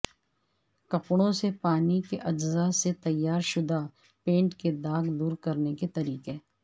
کپڑوں سے پانی کے اجزاء سے تیارشدہ پینٹ کے داغ دور کرنے کے طریقے